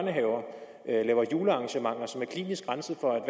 er i laver julearrangementer som er klinisk renset for